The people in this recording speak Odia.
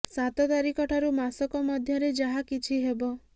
ସାତ ତାରିଖ ଠାରୁ ମାସକ ମଧ୍ୟରେ ଯାହା କିଛି ହେବ